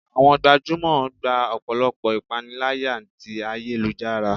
awọn gbajúmò gbá ọpọlọpọ ​​ipanilaya tí ayélujará